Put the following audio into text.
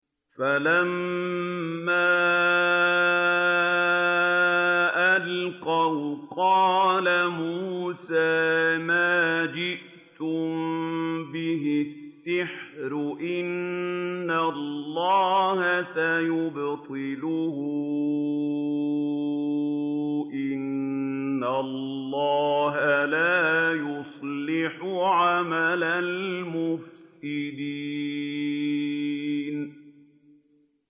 فَلَمَّا أَلْقَوْا قَالَ مُوسَىٰ مَا جِئْتُم بِهِ السِّحْرُ ۖ إِنَّ اللَّهَ سَيُبْطِلُهُ ۖ إِنَّ اللَّهَ لَا يُصْلِحُ عَمَلَ الْمُفْسِدِينَ